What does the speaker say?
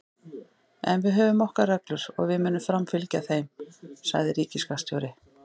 En við höfum okkar reglur og við munum framfylgja þeim, sagði ríkisskattstjóri